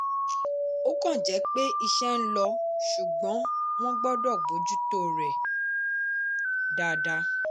ọ̀kan jẹ́ pé iṣẹ́ ń lọ ṣùgbọ́n wọ́n gbọ́dọ̀ bójú tó rẹ̀ dáadáa.